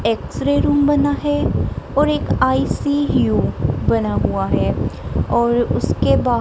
X-ray room बना है और एक आई_सी_यू बना हुआ है और उसके बाद--